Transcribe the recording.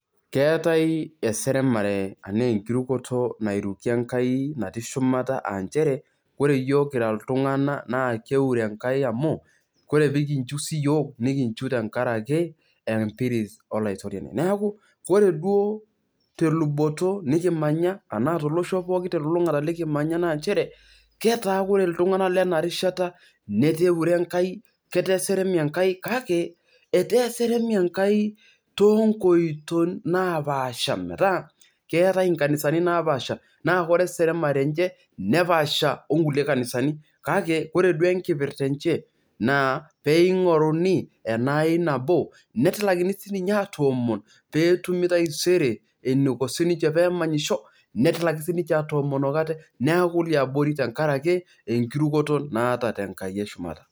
Keetai eseremare tanaa enkirukoto nairuki enkai natii shumata aanchere ore yiok kira ltunganak na kiure enkai amu ore pekinchu siyiok nikinchu tenkaraki empiris olaitoriani, neaku ore duo teluboto nikimanya tanaa tolosho pookin nikimanya na nchere ketaa ore ltunganak lenarishata netaa eure enkai, ketaa eseremi enkai kake etaa eseremi enkai tonkoito napaasha metaabkeetai nkanisani napaasha metaa ore eseremare enye nepasha onkulie kanisanikake ore duo enkipirta enye naa peingoruni enaai nabo netilakini sinye atomon peetumi taisere eniko ninche pemanyisho netilaki sinche atomon neaku leabori tenkaraki enkiroroto naata tenkai eshumata.